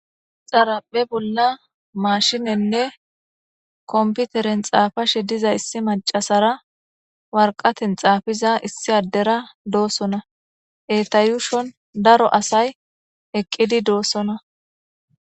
Xaraphe bola mashinenne kompiteren xafashe diza issi mac'asera warqaten xafiza issi adera dosona eta yushon daro asay eqidi dosona.